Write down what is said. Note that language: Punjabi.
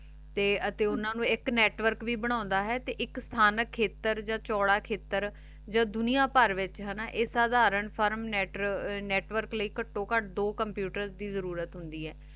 ਤੇ ਅਤੀ ਓਹਨਾਂ ਨੂ ਏਇਕ network ਵੀ ਬਣਾਂਦਾ ਹੈ ਤੇ ਏਇਕ ਥਾਂ ਖੇਤਰ ਯਾ ਚੂਰਾ ਖੇਥਾਰ ਜਦ ਦੁਨਿਆ ਭਰ ਵਿਚ ਹਾਨਾ ਆਯ ਸਾਧਾਰਣ ਫਾਰਮ ਨੇਤ੍ਵੋਰਕ ਲੈ ਕਾਟੋ ਕਤ ਦੋ network ਦੀ ਜ਼ਰੁਰਤ ਹੁੰਦੀ ਆਯ computer